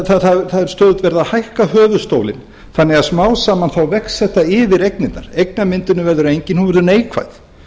það er stöðugt verið að hækka höfuðstólinn þannig að smám saman vex þetta yfir eignirnar eignamyndunin verður engin hún verður neikvæð